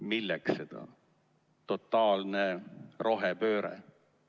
Milleks see totaalne rohepööre?